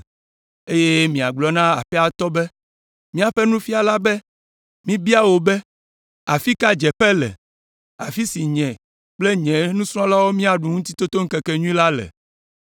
eye miagblɔ na aƒea tɔ be, ‘Míaƒe Nufiala be míbia wò be: Afi ka dzeƒe le, afi si nye kple nye nusrɔ̃lawo míaɖu Ŋutitotoŋkekenyui la le?’